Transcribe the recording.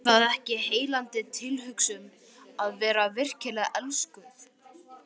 Er það ekki heillandi tilhugsun að vera virkilega elskuð?